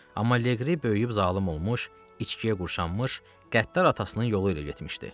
Amma Leqri böyüyüb zalım olmuş, içkiyə qurşanmış, qəddar atasının yolu ilə getmişdi.